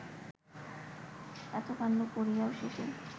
এত কাণ্ড করিয়াও শেষে